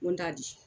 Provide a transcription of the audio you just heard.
N ko n t'a di